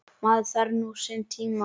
Maður þarf nú sinn tíma.